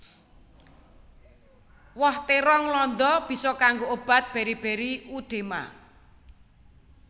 Woh térong landa bisa kanggo obat beri beri udema